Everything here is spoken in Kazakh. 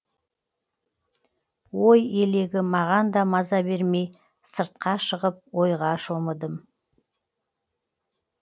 ой елегі мағанда маза бермей сыртқа шығып ойға шомыдым